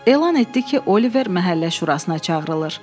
Elan etdi ki, Oliver məhəllə şurasına çağırılır.